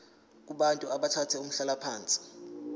kubantu abathathe umhlalaphansi